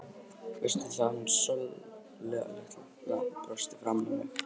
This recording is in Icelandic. Veistu það, að hún Sóla litla brosti framan í mig.